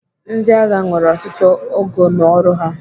Ndịagha nwere ọtụtụ ogo n'ọrụ ha.